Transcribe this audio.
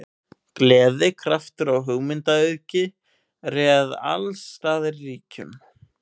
Gleði, kraftur og hugmyndaauðgi réð alls staðar ríkjum.